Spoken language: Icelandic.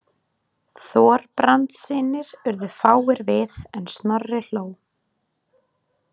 Þorbrandssynir urðu fáir við en Snorri hló.